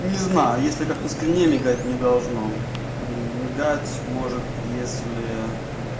не знаю если как на скрине мигать не должно мигать может если